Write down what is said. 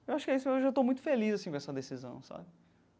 Eu acho que é isso, eu já estou muito feliz assim com essa decisão, sabe?